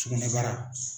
Sugunɛbara